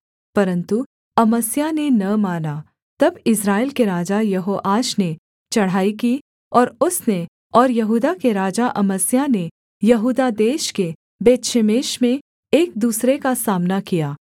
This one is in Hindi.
परन्तु अमस्याह ने न माना तब इस्राएल के राजा यहोआश ने चढ़ाई की और उसने और यहूदा के राजा अमस्याह ने यहूदा देश के बेतशेमेश में एक दूसरे का सामना किया